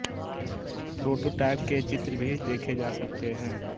prototype के चित्र भी देखे जा सकते हैं